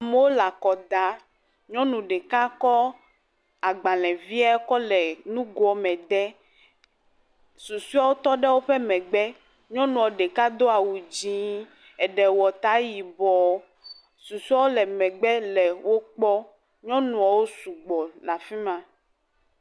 amowo la kɔda nyɔnu ɖeka kó agbalēvie kɔ le nugoɔ me de susuewo tɔ ɖe wóƒe megbe nyɔŋua ɖeka dó awu dzĩ, eɖe wɔ tá yibɔ susoewo le megbe le wokpɔm nyɔnuɔwo sɔgbɔ la fimá